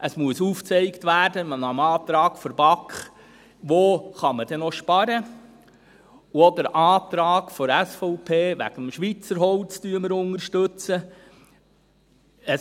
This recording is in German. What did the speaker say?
Es muss aufgezeigt werden, nach dem Antrag der BaK, wo man noch sparen kann, und auch den Antrag der SVP wegen dem Schweizer Holz unterstützen wir.